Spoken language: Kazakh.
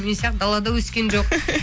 мен сияқты далада өскен жоқ